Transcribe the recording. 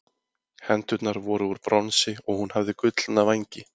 Hendurnar voru úr bronsi og hún hafði gullna vængi.